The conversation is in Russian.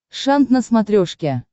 шант на смотрешке